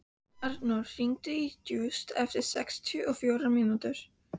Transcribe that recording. Arnór, hringdu í Júst eftir sextíu og fjórar mínútur.